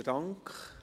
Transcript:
Besten Dank.